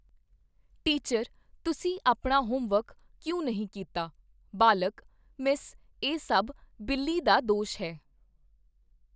Teacher ਤੁਸੀ ਆਪਨਾ homework ਕਿਉਂ ਨਹੀ ਕੀਤਾ? ਬਾਲਕ, ਮਿੱਸ ਇਹ ਸਭ ਬਿੱਲੀ ਦਾ ਦੋਸ਼ ਹੈ।